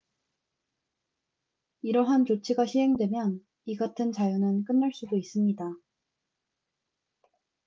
이러한 조치가 시행되면 이 같은 자유는 끝날 수도 있습니다